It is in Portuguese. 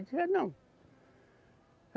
Ele disse, quero não.